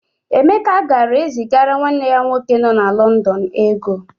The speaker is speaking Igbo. Emeka ga-ezigara nwanne ya nwoke nọ na Lọndọn ego.